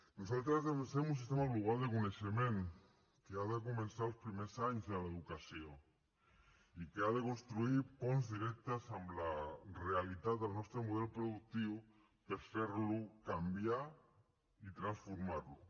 nosaltres defensem un sistema global de coneixement que ha de començar els primers anys de l’educació i que ha de construir ponts directes amb al realitat del nostre model productiu per fer lo canviar i transformar lo